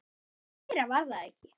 Meira var það ekki.